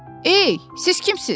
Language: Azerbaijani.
Ey, siz kimsiniz?